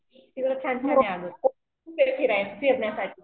फिरण्यासाठी.